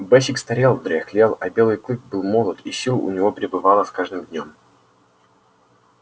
бэсик старел дряхлел а белый клык был молод и сил у него прибывало с каждым днём